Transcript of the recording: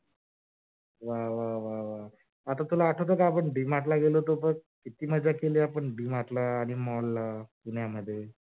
वा वा वा वा आता तुला आठवत का? आपण D Mart ला गेलो होतो बघ किती मजा केली आपण mall आनि D Mart ला पुण्यामध्ये?